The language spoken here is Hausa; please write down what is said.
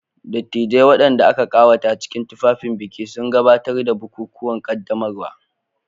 Dattijai, waɗanda aka ƙawata cikin tufafin biki, sun gabatar da bukukuwan ƙaddamarwa.